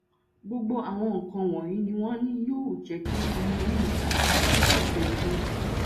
gbogbo àwọn nǹkan wọnyí ni wọn ní yóò um jẹ kí ọmọ inú mi um padà sípò tó yẹ kó wà